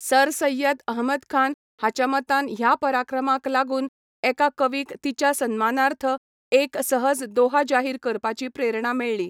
Sir Syed Ahmad Khan हाच्या मतान ह्या पराक्रमाक लागून एका कवीक तिच्या सन्मानार्थ एक सहज दोहा जाहीर करपाची प्रेरणा मेळ्ळी.